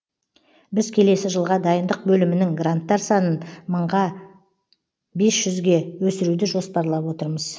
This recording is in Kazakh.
біз келесі жылға дайындық бөлімінің гранттар санын мыңға бес жүзге өсіруді жоспарлап отырмыз